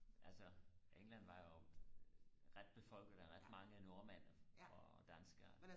altså england var jo ret befolket af ret mange nordmænd og danskere